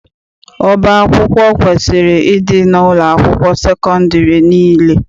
Ọba akwụkwọ kwesiri ịdị n'ụlọakwụkwọ sekọndịrị niile.